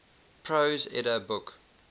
prose edda book